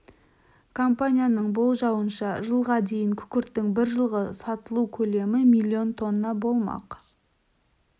компанияның болжауынша жылға дейін күкірттің бір жылғы сатылу көлемі миллион тонна болмақ